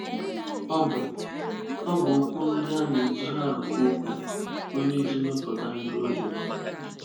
Ọ bụ́ Ọ bụ́ okwu ndị a na-eji àrụ́kọ okwu, onye iji mepụta ahịrịokwu.